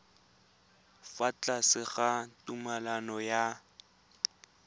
fa tlase ga tumalano ya